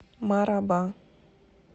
мараба